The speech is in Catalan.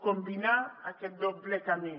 combinar aquest doble camí